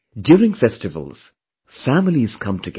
During festivals, families come together